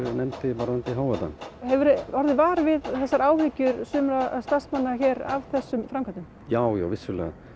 varðandi hávaða hefurðu orðið var við áhyggjur sumra starfsmanna hér af þessum framkvæmdum já já vissulega